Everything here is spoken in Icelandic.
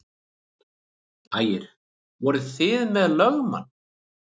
Ægir: Voruð þið með lögmann?